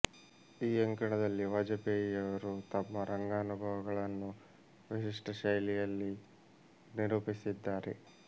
ಈ ಅಂಕಣದಲ್ಲಿ ವಾಜಪೇಯಿಯವರು ತಮ್ಮ ರಂಗಾನುಭವಗಳನ್ನು ವಿಶಿಷ್ಟ ಶೈಲಿಯಲ್ಲಿ ನಿರೂಪಿಸಿದ್ದಾರೆ